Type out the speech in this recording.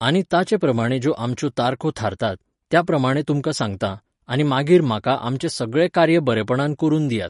आनी ताचेप्रमाणें ज्यो आमच्यो तारखो थारतात, त्या प्रमाणें तुमकां सांगतां, आनी मागीर म्हाका आमचें सगळें कार्य बरेपणान करून दियात.